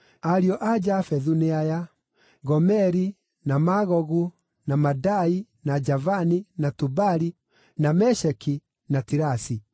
Ariũ a Jafethu nĩ aya: Gomeri, na Magogu, na Madai, na Javani, na Tubali, na Mesheki, na Tirasi.